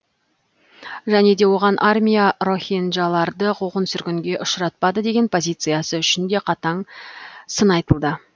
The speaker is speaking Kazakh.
және де оған армия рохинджаларды қуғын сүргінге ұшыратпады деген позициясы үшін де қатаң сын айтылды